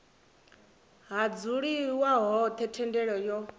ha dzuliwa hone thendelo yo